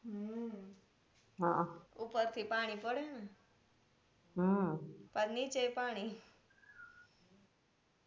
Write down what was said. હમ ઉપર થી પાણી પડે ને પાછ નીચે એ પાણી